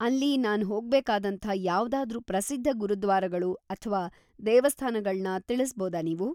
ಅಲ್ಲಿ ನಾನ್ ಹೋಗ್ಬೇಕಾದಂಥ ಯಾವ್ದಾದ್ರೂ ಪ್ರಸಿದ್ಧ ಗುರುದ್ವಾರಗಳು ಅಥ್ವಾ ದೇವಸ್ಥಾನಗಳ್ನ ತಿಳಿಸ್ಬೋದಾ ನೀವು?